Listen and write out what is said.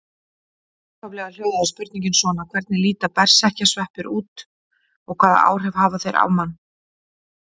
Upphaflega hljóðaði spurningin svona: Hvernig líta berserkjasveppir út og hvaða áhrif hafa þeir á mann?